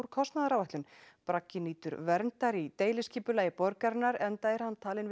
kostnaðaráætlun bragginn nýtur verndar í deiliskipulagi borgarinnar enda er hann talinn